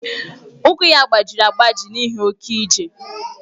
Ụkwụ ya gbajiri agbaji n'ihi oke ije.